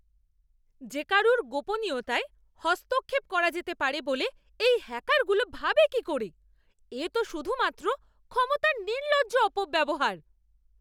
যে কারুর গোপনীয়তায় হস্তক্ষেপ করা যেতে পারে বলে এই হ্যাকারগুলো ভাবে কি করে? এ তো শুধুমাত্র ক্ষমতার নির্লজ্জ অপব্যবহার!